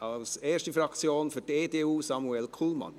Für die erste Fraktion, die EDU: Samuel Kullmann.